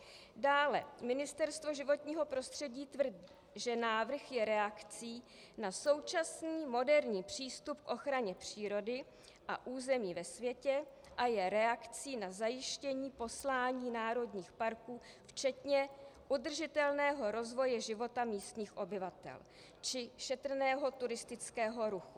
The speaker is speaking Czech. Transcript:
Dále Ministerstvo životního prostředí tvrdí, že návrh je reakcí na současný moderní přístup k ochraně přírody a území ve světě a je reakcí na zajištění poslání národních parků včetně udržitelného rozvoje života místních obyvatel či šetrného turistického ruchu.